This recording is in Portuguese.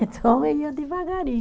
Então, ia devagarinho.